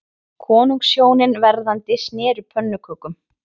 Konungshjónin verðandi sneru pönnukökum